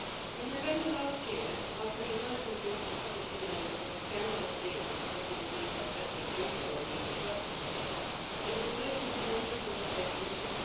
In November last year, after the emergence into the public domain of the scandalous deals that had been agreed by President Juncker while he was Prime Minister of Luxembourg, there was a motion for the removal of the whole Commission.